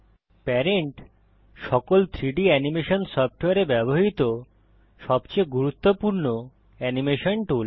parent সকল 3ডি animation সফটওয়্যারে ব্যবহৃত সবচেয়ে গুরুত্বপূর্ণ অ্যানিমেশন টুল